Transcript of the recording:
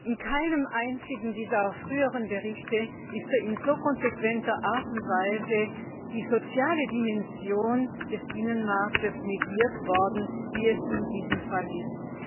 In keinem einzigen dieser früheren Berichte ist in so konsequenter Art und Weise die soziale Dimension des Binnenmarkts negiert worden wie in diesem Fall ist.